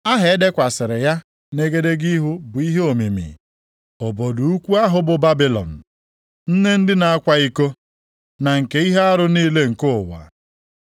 Aha e dekwasịrị ya nʼegedege ihu bụ ihe omimi: Obodo ukwu ahụ bụ Babilọn, nne ndị na-akwa iko na nke ihe arụ niile nke ụwa.